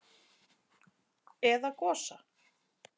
Eða Gosa?